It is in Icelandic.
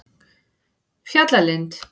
Fjallalind